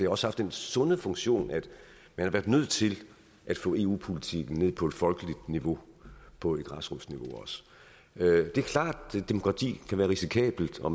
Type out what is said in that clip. også haft den sunde funktion at man har været nødt til at få eu politikken ned på et folkeligt niveau på et græsrodsniveau det er klart at demokrati kan være risikabelt og